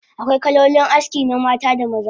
Akwai kalolin aski na mata da maza